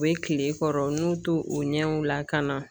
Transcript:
U be kile kɔrɔ n'u tu u ɲɛw lakana